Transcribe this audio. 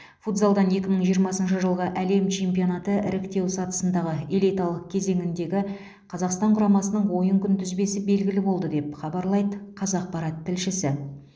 футзалдан екі мың жиырмасыншы жылғы әлем чемпионаты іріктеу сатысындағы элиталық кезеңіндегі қазақстан құрамасының ойын күнтізбесі белгілі болды деп хабарлайды қазақпарат тілшісі